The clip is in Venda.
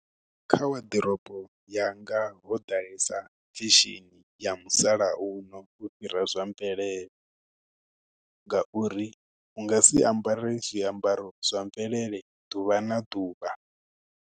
Kha waḓorobo ya nga ho ḓalesa khishini ya musalauno ufhira zwa mvelele, ngauri u nga si ambara zwiambaro zwa mvelele ḓuvha na ḓuvha.